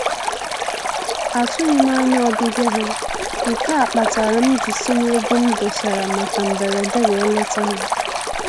Atụghị m anya ọbịbịa ha, nke a kpatara m ji si n'ego m dosara maka mberede wee leta ha